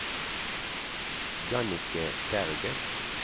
Jannicke Berget